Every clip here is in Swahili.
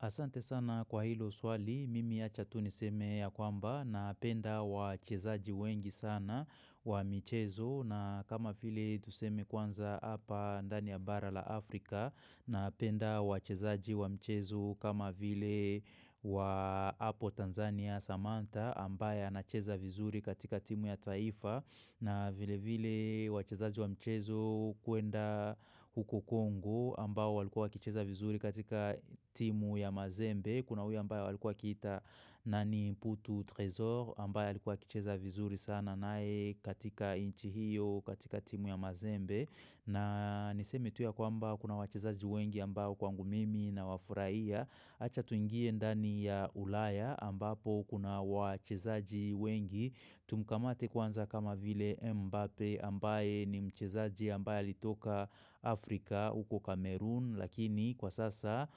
Asante sana kwa hilo swali, mimi ya acha tu niseme ya kwamba napenda wachezaji wengi sana wa michezo na kama vile tuseme kwanza hapa ndani ya bara la Afrika na penda wachezaji wa mchezo kama vile wa apo Tanzania Samantha ambaye anacheza vizuri katika timu ya taifa na vile vile wachezaji wa mchezo kwenda huko Kongo ambao walikuwa wakicheza vizuri katika timu ya mazembe. Kuna huyu ambaye walikuwa wakiita na ni putu tresor ambaye alikuwa akicheza vizuri sana naye katika nchi hiyo katika timu ya mazembe. Na nisemi tu ya kwaba kuna wachezaji wengi ambao kwangu mimi na wafuraiya. Acha tuingie ndani ya ulaya ambapo ukuna wachezaji wengi Tumkamate kwanza kama vile Mbappe ambaye ni mchezaji ambaye alitoka Afrika uko Cameroon Lakini kwa sasa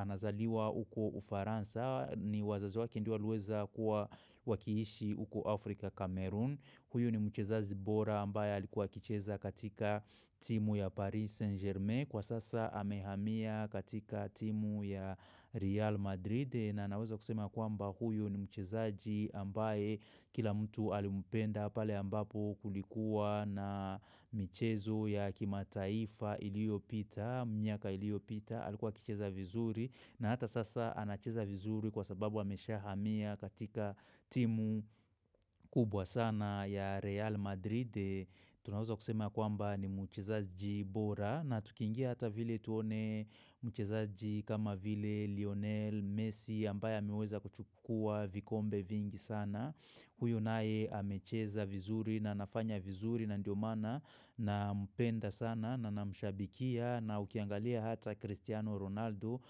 anazaliwa uko Ufaransa ni wazazi waki ndio waliweza kua wakiishi uko Afrika Kamerun Huyu ni mchezazi bora ambaye alikuwa kicheza katika timu ya Paris Saint Germain Kwa sasa hamehamia katika timu ya Real Madrid na naweza kusema kwamba huyo ni mchezaji ambaye kila mtu alimpenda pale ambapo kulikuwa na michezo ya kimataifa iliopita, miaka iliyopita, alikuwa akicheza vizuri na hata sasa anacheza vizuri kwa sababu ameshahamia katika timu kubwa sana ya Real Madrid. Tunaweza kusema kwamba ni mchezaji bora na tukiingia hata vile tuone mchezaji kama vile Lionel Messi ambaye ameweza kuchukua vikombe vingi sana. Huyo naye amecheza vizuri na anafanya vizuri na ndio maana nampenda sana na na mshabikia na ukiangalia hata Cristiano Ronaldo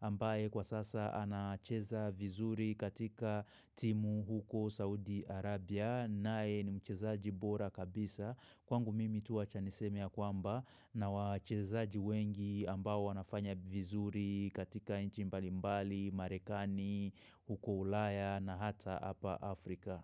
ambaye kwa sasa anacheza vizuri katika timu huko Saudi Arabia. Nae ni mchezaji bora kabisa kwangu mimi tu wacha niseme ya kwamba na wachezaji wengi ambao wanafanya vizuri katika nchi mbalimbali, marekani, huko ulaya na hata apa Afrika.